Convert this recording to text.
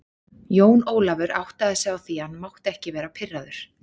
Jón Ólafur áttaði sig á því að hann mátti ekki vera pirraður.